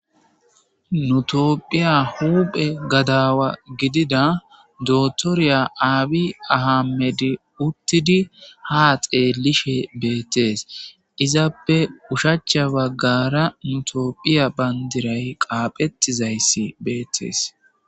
Nu toophiya huphe gadaawa gidida dotoriya aabi ahammedi uttidi ha xeellishe beettes izappe ushacha baggara nutoophiya bandiray qaaphettizayssi beettees.